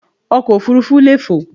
Ọkọ̀ òfurufú leè fò